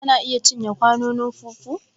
Kana iya cinye kwanon fufu?